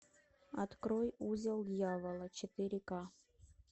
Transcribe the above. открой узел дьявола четыре ка